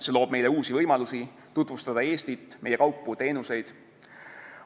See loob meile uusi võimalusi tutvustada Eestit, meie kaupu ja teenuseid.